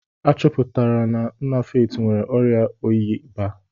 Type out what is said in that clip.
A chọpụtara na nna Faith nwere ọrịa oyi baa.